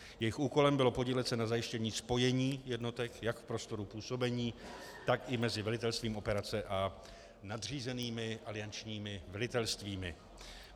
Jejich úkolem bylo podílet se na zajištění spojení jednotek jak v prostoru působení, tak i mezi velitelstvím operace a nadřízenými aliančními velitelstvími.